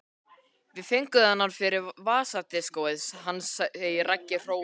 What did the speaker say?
Við fengum þennan fyrir vasadiskóið hans segir Raggi hróðugur.